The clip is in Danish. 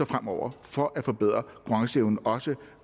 fremover for at forbedre konkurrenceevnen også